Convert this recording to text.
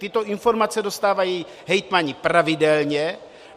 Tyto informace dostávají hejtmani pravidelně.